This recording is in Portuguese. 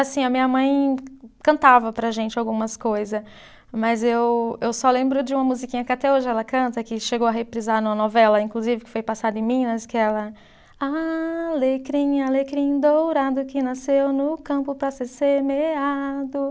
Assim, a minha mãe cantava para a gente algumas coisa, mas eu eu só lembro de uma musiquinha que até hoje ela canta, que chegou a reprisar numa novela, inclusive, que foi passada em Minas, que é ela. Alecrim, alecrim dourado que nasceu no campo para ser semeado.